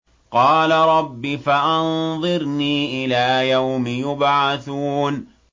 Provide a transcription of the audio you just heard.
قَالَ رَبِّ فَأَنظِرْنِي إِلَىٰ يَوْمِ يُبْعَثُونَ